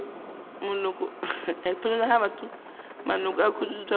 maloko a khuduthamaga ya profense